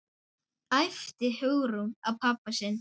æpti Hugrún á pabba sinn.